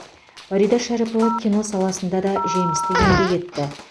фарида шәріпова кино саласында да жемісті еңбек етті